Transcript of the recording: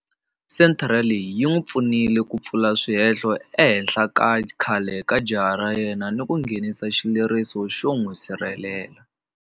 Senthara leyi yi n'wi pfunile ku pfula swihehlo ehenhla ka khale ka jaha ra yena ni ku nghenisa xileriso xo n'wi sirhelela.